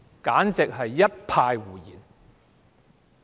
簡直是一派胡言。